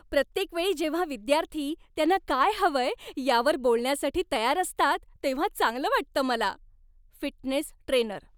प्रत्येकवेळी जेव्हा विद्यार्थी त्यांना काय हवंय यावर बोलण्यासाठी तयार असतात तेव्हा चांगलं वाटतं मला. Fitness trainer